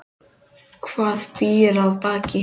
Hvað býr að baki?